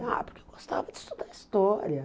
Ah, porque eu gostava de estudar história.